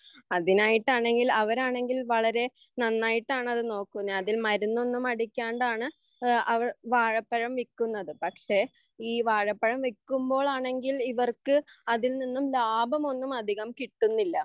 അതിനായിട്ടാണെങ്കിൽ അവരാണെങ്കിൽ വളരെ നന്നായിട്ടാണ് അവർനോക്കുന്നത് അതിൽ മരുന്നൊന്നും അടിക്കാണ്ടാണ് അവർ വാഴപ്പഴം വിൽക്കുന്നത് പക്ഷെ ഈ വാഴപ്പഴം വിൽക്കുമ്പോഴാണെങ്കിൽ ഇവർക്ക് അതിൽനിന്നും ലാഭമൊന്നും അധികം കിട്ടുന്നില്ല